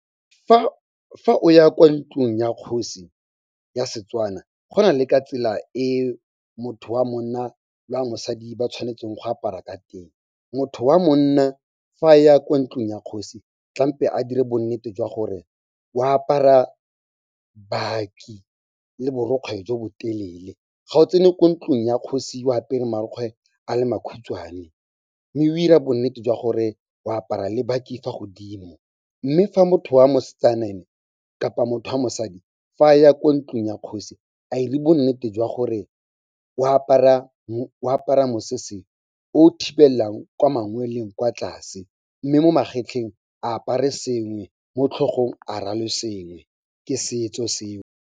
Fa o ya kwa ntlung ya kgosi ya Setswana go na le ka tsela e motho wa monna le wa mosadi ba tshwanetseng go apara ka teng. Motho wa monna fa ya kwa ntlung ya kgosi, tlampe a dire bo nnete jwa gore o apara baki le borokgwe jo bo telele. Ga o tsene kwa ntlung ya kgosi o apere marukgwe a le makhutshwane, mme o dira bo nnete jwa gore o apara le baki fa godimo. Mme fa motho wa mosetsana ene kapa motho wa mosadi, fa a ya kwa ntlung ya kgosi a dire bo nnete jwa gore o apara mosese o thibelelang kwa mangweleng kwa tlase, mme mo magetleng a apare sengwe mo tlhogong a rwale sengwe ke setso seo.